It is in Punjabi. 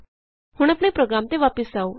ਹੁਣ ਆਪਣੇ ਪ੍ਰੋਗਰਾਮ ਤੇ ਵਾਪਸ ਆਉ